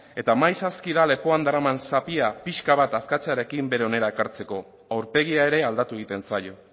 eta maiz aski da lepoan daraman zapia pixka bat askatzearekin bere onera ekartzeko aurpegia ere aldatu egiten zaio